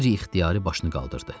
Qeyri-ixtiyari başını qaldırdı.